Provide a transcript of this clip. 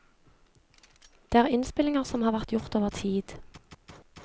Det er innspillinger som har vært gjort over tid.